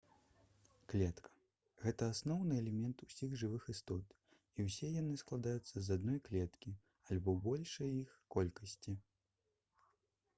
клетка гэта асноўны элемент усіх жывых істот і ўсе яны складаюцца з адной клеткі альбо большай іх колькасці